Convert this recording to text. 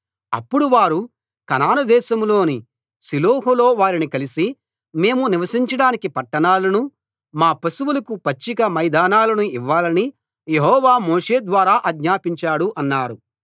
అప్పుడు వారు కనాను దేశంలోని షిలోహులో వారిని కలిసి మేము నివసించడానికి పట్టణాలనూ మా పశువులకు పచ్చిక మైదానాలనూ ఇవ్వాలని యెహోవా మోషే ద్వారా ఆజ్ఞాపించాడు అన్నారు